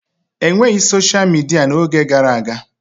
E nweghị soshal midia n'oge gara aga.